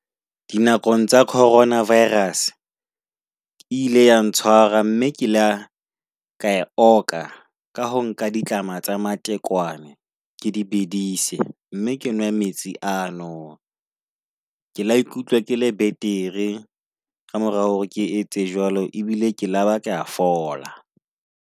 Dinakong tsa corona virus e ile ya ntshwara mme ke la ka oka ka ho nka ditlama tsa matekwane. Ke di bedise mme ke nwe metsi ano, ke la ikutlwa ke le betere ka mora hore ke etse jwalo ebile ke laba ke a fola.